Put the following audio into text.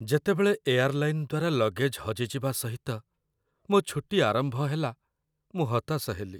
ଯେତେବେଳେ ଏୟାର୍‌ଲାଇନ୍‌ ଦ୍ୱାରା ଲଗେଜ୍‌ ହଜିଯିବା ସହିତ ମୋ ଛୁଟି ଆରମ୍ଭ ହେଲା, ମୁଁ ହତାଶ ହେଲି।